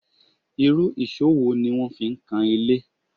Irú èṣó wo ni wọ́n fi ń kan ilé?